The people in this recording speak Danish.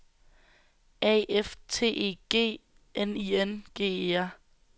A F T E G N I N G E R